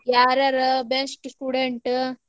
ಯಾರ್ ಯಾರ್ best student .